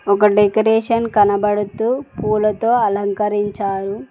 ఒక డెకరేషన్ కనబడుతూ పూలతో అలంకరించారు.